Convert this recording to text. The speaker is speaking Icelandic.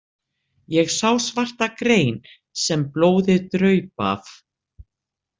Ég sá svarta grein sem blóðið draup af.